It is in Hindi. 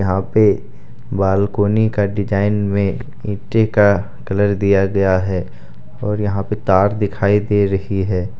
यहां पे बालकोनी का डिजाइन में ईंटे का कलर दिया गया है और यहां पे तार दिखाई दे रही है।